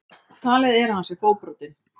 Talið er að hann sé fótbrotinn